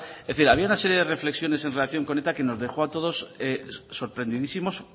es decir había una serie de reflexiones en relación con eta que nos dejó a todos sorprendidísimos